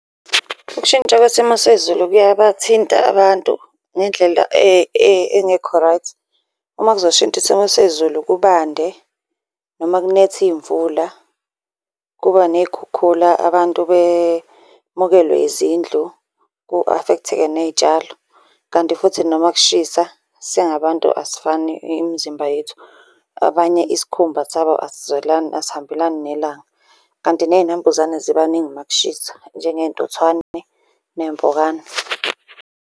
Ukushintsha kwesimo sezulu kuyabathinta abantu ngendlela engekho right. Uma kuzoshintsha isimo sezulu kubande noma kunethe iy'mvula, kuba ney'khukhula abantu bemukelwe yizindlu ku-afektheke ney'tshalo. Kanti futhi noma kushisa, singabantu asifani, imizimba yethu abanye isikhumba sabo asizwelani asihambelani nelanga. Kanti ney'nambuzane ziba ningi uma kushisa njengey'ntuthwane, ney'mpukane.